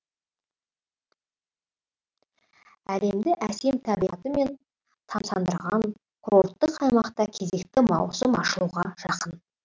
әлемді әсем табиғатымен тамсандырған курорттық аймақта кезекті маусым ашылуға жақын